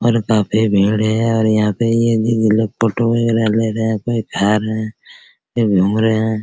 और काफी भीड़ है और यहाँ पे ये फोटो ले रहे है कोई खा रहे है ये घुम रहे है।